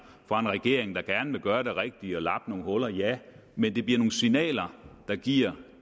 fra en regering der gerne vil gøre det rigtige og lappe nogle huller ja men det bliver nogle signaler der giver